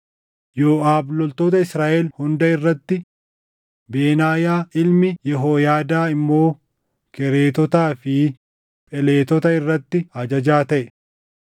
Yooʼaab loltoota Israaʼel hunda irratti, Benaayaa ilmi Yehooyaadaa immoo Kereetotaa fi Pheletota irratti ajajaa taʼe;